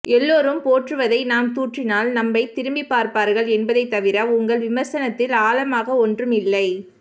எல்லோரும் போற்றுவதை நாம் தூற்றினால் நம்மை திரும்பிப் பார்ப்பார்கள் என்பதை தவிர உங்கள் விமர்சனத்தில் ஆழமாக ஒன்றும் இல்லை